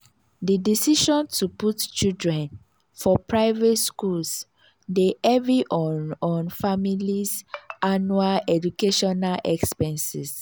di decision to put children for private schools dey heavy on on families' annual educational expenses.